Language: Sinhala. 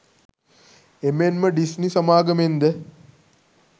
එමෙන්ම ඩිස්නි සමාගමෙන්ද